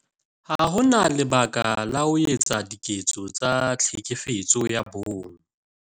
Ha ho na lebaka la ho etsa diketso tsa Tlhekefetso ya Bong